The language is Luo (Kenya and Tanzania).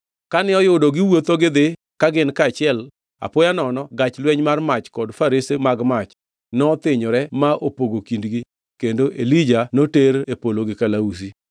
Kane oyudo giwuotho gidhi ka gin kaachiel, apoya nono gach lweny mar mach kod farese mag mach nothinyore ma opogo kindgi kendo Elija noter e polo gi kalausi.